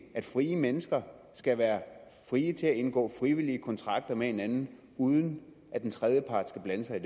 at frie mennesker skal være frie til at indgå frivillige kontrakter med hinanden uden at en tredjepart skal blande sig